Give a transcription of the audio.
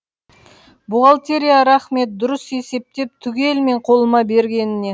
бухгалтерияға рақмет дұрыс есептеп түгелмен қолыма бергеніне